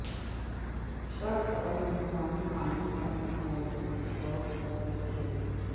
شخص اور انتظامی قانون کا ایک موضوع کے طور پر ایک شہری